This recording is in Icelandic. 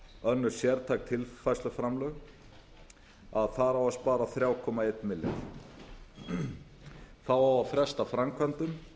önnur sértæk tilfærsluframlög þar á að spara þrjú komma einn milljarð það á að fresta framkvæmdum